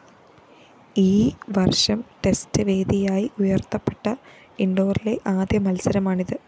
ഈ വര്‍ഷം ടെസ്റ്റ്‌ വേദിയായി ഉയര്‍ത്തപ്പെട്ട ഇന്‍ഡോറിലെ ആദ്യ മത്സരമാണിത്